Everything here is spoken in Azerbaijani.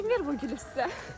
Kim verib bu gülü sizə?